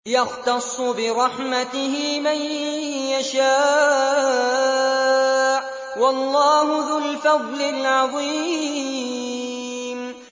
يَخْتَصُّ بِرَحْمَتِهِ مَن يَشَاءُ ۗ وَاللَّهُ ذُو الْفَضْلِ الْعَظِيمِ